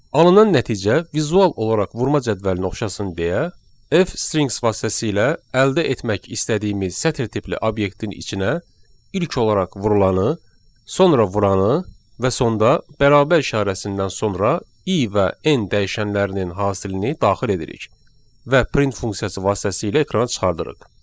Alınan nəticə vizual olaraq vurma cədvəlinə oxşasın deyə F strings vasitəsilə əldə etmək istədiyimiz sətr tipli obyektin içinə ilk olaraq vurulanı, sonra vuranı və sonda bərabər işarəsindən sonra i və n dəyişənlərinin hasilini daxil edirik və print funksiyası vasitəsilə ekrana çıxardırıq.